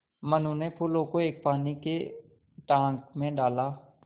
मनु ने फूलों को एक पानी के टांक मे डाला